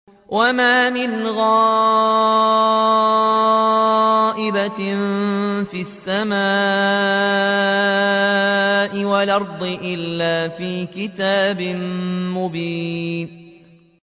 وَمَا مِنْ غَائِبَةٍ فِي السَّمَاءِ وَالْأَرْضِ إِلَّا فِي كِتَابٍ مُّبِينٍ